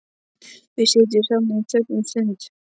Við sitjum saman í þögn um stund.